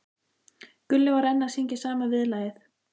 Gulli var enn að syngja sama viðlagið.